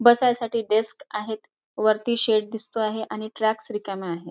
बसायसाठी डेक्स आहेत वरती शेड दिसतो आहे आणि ट्रॅक्स रिकाम्या आहेत.